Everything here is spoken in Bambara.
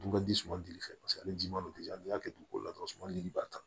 Dun ka di suman dili fɛ paseke ale ji man di n'i y'a kɛ dugukolo la dɔrɔn suman ni ba ta